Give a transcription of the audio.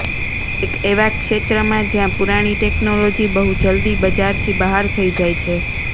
એક એવા ક્ષેત્રમાં જ્યાં પુરાણી ટેકનોલોજી બહુ જલ્દી બજારથી બહાર થઈ જાય છે